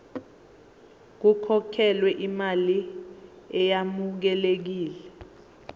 kukhokhelwe imali eyamukelekile